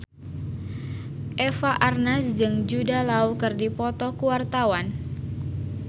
Eva Arnaz jeung Jude Law keur dipoto ku wartawan